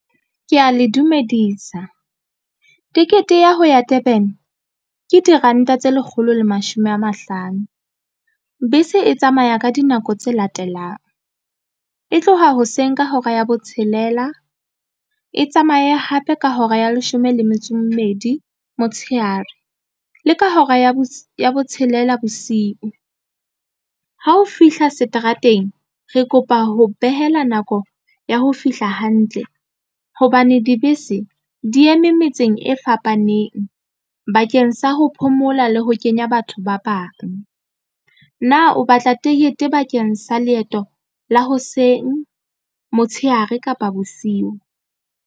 Ke ya le dumedisa tekete ya ho ya Durban ke diranta tse lekgolo le mashome a mahlano bese e tsamaya ka dinako tse latelang e tloha hoseng ka hora ya botshelela e tsamaye hape ka hora ya leshome le metso e mmedi motshehare le ka hora ya bo ya botshelela bosiu. Ha o fihla seterateng re kopa ho behela nako ya ho fihla hantle hobane dibese di eme metseng e fapaneng ba keng sa ho phomola le ho kenya batho ba bang na o batla tekete bakeng sa leeto la hoseng, motsheare, kapa bosiu?